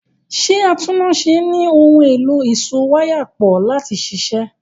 Ṣé atúnnáṣe ní ohun èlò ìsowáyàpọ̀ láti ṣiṣẹ́?